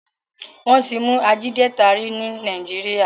Wón tí mú Ajídétà rí ní Nàìjíríà.